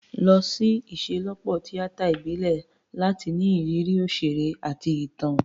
Lọ sí ìṣelọ́pọ̀ tíátà ìbílẹ̀ láti ní ìrírí òṣèré àti ìtàn.